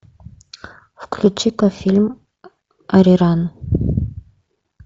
включи ка фильм ариран